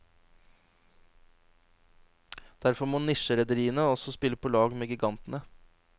Derfor må nisjerederiene også spille på lag med gigantene.